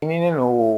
Ɲini no